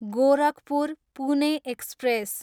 Gorakhpur, Pune express